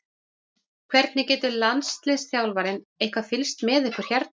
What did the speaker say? Hvernig getur landsliðsþjálfarinn eitthvað fylgst með ykkur hérna?